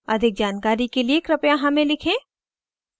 अधिक जानकारी के लिए कृपया हमें लिखें